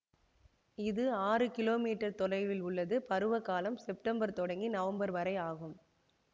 இது ஆறு kilometre தொலைவில் உள்ளது பருவ காலம் செப்டம்பர் தொடங்கி நவம்பர் வரை ஆகும்